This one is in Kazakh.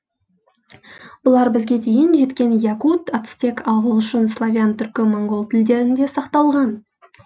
бұлар бізге дейін жеткен якут ацтек ағылшын славян түркі моңғол тілдерінде сақталған